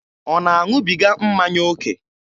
Ọ na-aṅụbiga mmanya oke?